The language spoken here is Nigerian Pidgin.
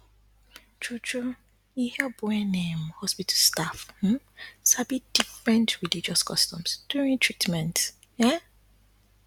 truetrue e help wen um hospital staff um sabi different religious customs during treatment um